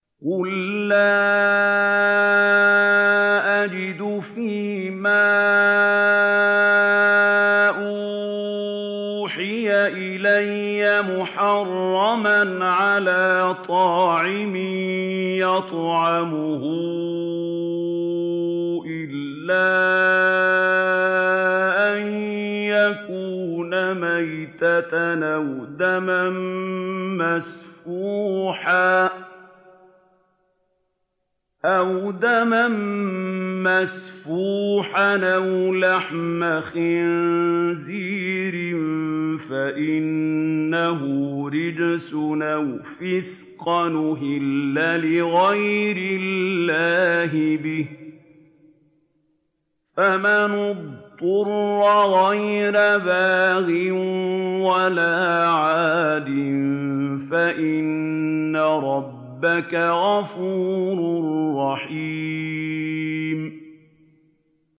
قُل لَّا أَجِدُ فِي مَا أُوحِيَ إِلَيَّ مُحَرَّمًا عَلَىٰ طَاعِمٍ يَطْعَمُهُ إِلَّا أَن يَكُونَ مَيْتَةً أَوْ دَمًا مَّسْفُوحًا أَوْ لَحْمَ خِنزِيرٍ فَإِنَّهُ رِجْسٌ أَوْ فِسْقًا أُهِلَّ لِغَيْرِ اللَّهِ بِهِ ۚ فَمَنِ اضْطُرَّ غَيْرَ بَاغٍ وَلَا عَادٍ فَإِنَّ رَبَّكَ غَفُورٌ رَّحِيمٌ